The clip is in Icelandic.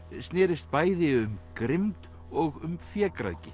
snérist bæði um grimmd og um